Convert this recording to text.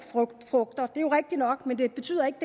frugter det jo rigtigt nok men det betyder ikke